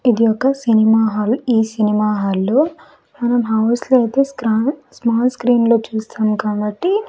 ఇది ఒక cinema hall ఈ సినిమా హాల్ లో మనం హౌస్ లో అయితే స్రన్-- స్మాల్ స్క్రీన్ లో చూస్తాం కాబట్టి.